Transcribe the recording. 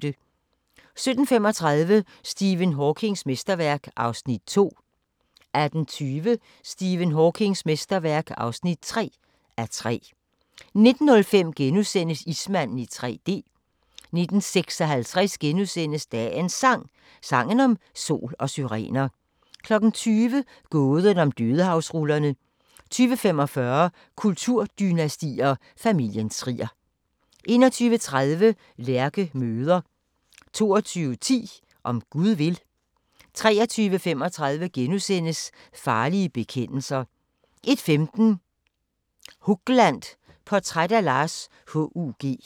17:35: Stephen Hawkings mesterværk (2:3) 18:20: Stephen Hawkings mesterværk (3:3) 19:05: Ismanden i 3D * 19:56: Dagens Sang: Sangen om sol og syrener * 20:00: Gåden om Dødehavsrullerne 20:45: Kulturdynastier: Familien Trier 21:30: Lærke møder 22:10: Om Gud vil 23:35: Farlige bekendelser * 01:15: Hugland – Portræt af Lars H.U.G.